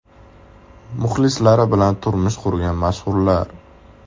Muxlislari bilan turmush qurgan mashhurlar .